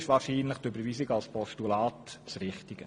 Deshalb ist wahrscheinlich die Überweisung als Postulat richtig.